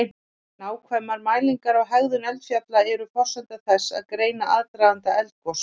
Nákvæmar mælingar á hegðun eldfjalla eru forsenda þess að greina aðdraganda eldgos.